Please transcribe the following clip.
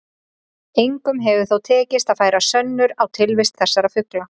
Engum hefur þó tekist að færa sönnur á tilvist þessara fugla.